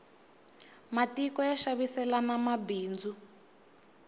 matiko ya xaviselana mabindzu